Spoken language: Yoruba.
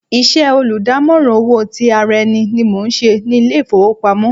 Iṣẹ́ olùdámọ̀ràn owó ti ara ẹni ni mò ń ṣe ní ilé ìfowópamọ́.